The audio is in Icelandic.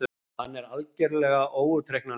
Hann er algerlega óútreiknanlegur!